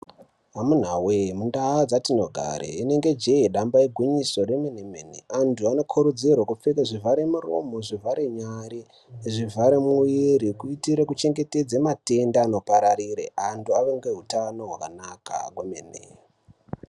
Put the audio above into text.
Amunawee mundaa dzitinogare inenge jee damba igwinyiso remenemene anthu anokurudzirwa kupfeka zvivhare muromo zvivhare nyare zvivhare muviri kuitire kuchengetedze matenda anopararire anthu ave ngehutano hwakanaka kwemene.